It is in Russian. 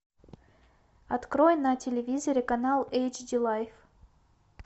открой на телевизоре канал эйч ди лайф